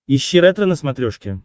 ищи ретро на смотрешке